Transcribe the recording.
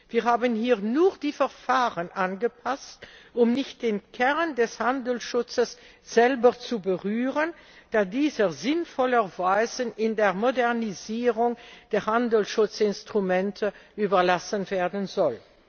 Wir haben hier nur die Verfahren angepasst, um nicht den Kern des Handelsschutzes selber zu berühren, da dieser sinnvollerweise der Modernisierung der Handelsschutzinstrumente überlassen werden soll.